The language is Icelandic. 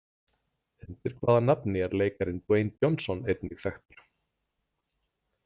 Undir hvaða nafni er leikarinn Dwayne Johnson einnig þekktur?